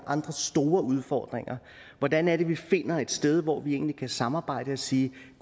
andre store udfordringer hvordan er det vi finder et sted hvor vi egentlig kan samarbejde og sige